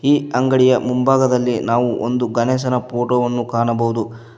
ಅಂಗಡಿಯ ಮುಂಭಾಗದಲ್ಲಿ ನಾವು ಒಂದು ಗಣೇಶನ ಫೋಟೋ ವನ್ನು ಕಾಣಬಹುದು.